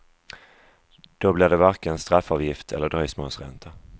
Då blir det varken straffavgift eller dröjsmålsränta.